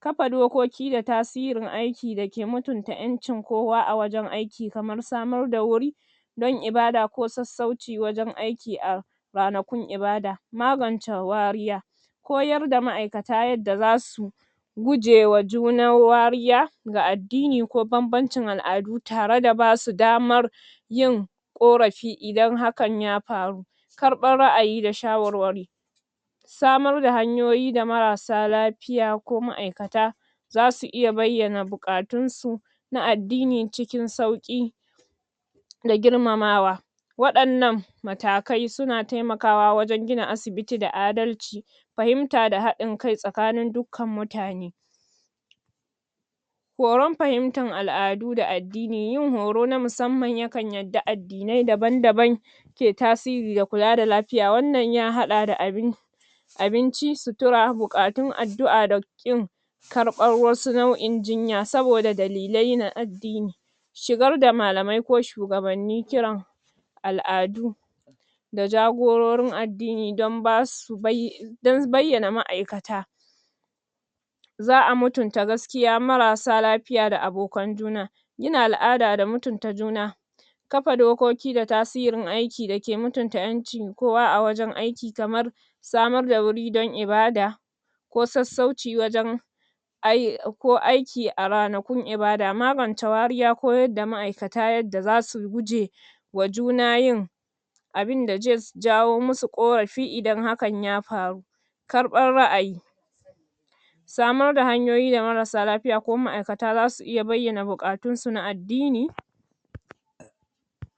Kafa dokaki da tasirin aiki da ke mutunta ƴancin kowa a wajan aiki, kamar samar da wuri,? don ibada ko sassauci wajan aiki a, ranakun ibada. Magance wariya. Koyar da ma'aikata yadda za su,? gujewa junar wariya, ga addini ko banbancin al'adu tare da basu damar,? yin, ƙorafi idan hakan ya faru.? Karɓar ra'ayi da shawarwari.? Samar da hanyoyi da marasa lafiya ko ma'aikata,? za su iya bayyana buƙatunsu, na addini cikin sauƙi,? da girmamawa.? Waɗannan, matakai su na taimakawa wajan gina asibiti da adalci,? fahimta da haɗin kai tsakanin dukkan mutane.? Horan fahimtar al'adu da addini. Yin horo na musamman ya kan yadda addinai daban-daban,? ke tasiri da kula da lafiya. Wannan ya haɗa da abin, abinci, sutura, buƙatun addua da ƙin,? karɓar wasu nau'in jinya saboda dalilai na addini.? Shigar da malamai ko shugabanni kiran,? al'adu,? da jagororin addini don ba su bai, don bayyana ma'aikata.? Za a mutunta mutunta gaskiya marasa lafiya da abokan juna. Gina al'ada da mutunta juna.? Kafa dukoki da tasirin aiki da ke mutunta ƴancin kowa a wajan aiki. Kamar? samar da wuri dan ibada,? ko sassauci wajan,?? ko aiki a ranakun ibada. Magance wariya koyar da ma'aikata yadda za su goje,? wa juna yin,? abinda zai jawo mu su ƙorafi idan hakan ya faru.? Karɓar ra'ayi.? Samar da hanyoyi da marasa lafiya ko ma'akata za su iya bayyana buƙatunsu na addini.